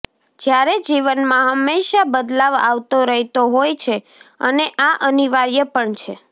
જ્યારે જીવનમાં હમેંશા બદલાવ આવતો રહેતો હોય છે અને આ અનિવાર્ય પણ છે